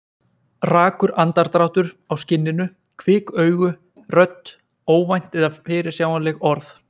Rakur andardráttur á skinninu, kvik augu, rödd, óvænt eða fyrirsjáanleg orð.